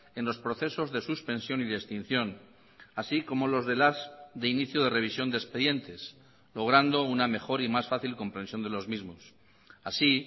en los procesos de suspensión y de extinción así como los de las de inicio de revisión de expedientes logrando una mejor y más fácil comprensión de los mismos así